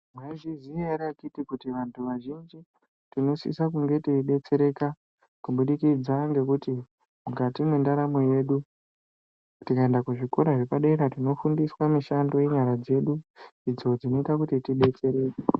Mwaizviziya ere kuti vantu vazhinji tinosisa kunge teidetsereka kubudikidza ngekuti mukati mwendaramo yedu tikaenda kuzvikora zvepadera tinofundiswa mishando yenyara dzedu. Idzo dzinoita kuti tidetsereke.